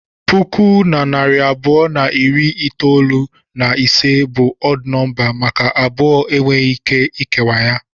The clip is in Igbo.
Puku na narị abụọ na iri itolu na ise bụ ọd nọmba maka abụọ enweghị ike ikewa ya.